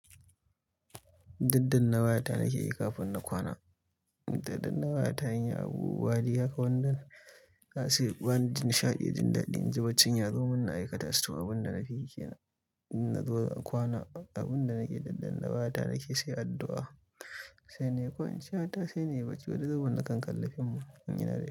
Daddanna wayata nake yi kafin na kwana. Indaddanna wayata in yi abubuwa, haka wandan zasu ban, jin nishaɗi, jin daɗi. In ji baccin ya zo, munna aikata su to. Abin da na fiyi kenan, in na zo kwana, abin da nake daddanna wayata nake sai addu'a. Sai nayi kwan ciya ta sai nayi baki. Wani zubin na kan kalli fim in yi dare.